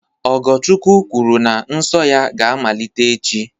Ogochukwu kwuru na nsọ ya ga-amalite echi